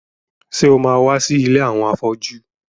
Ṣé o ma wá sí ilé àwọn afọ́jú?